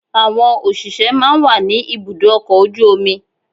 Àwọn òṣìṣẹ́ máa ń wà ní ibùdó ọkọ̀ ojú omi.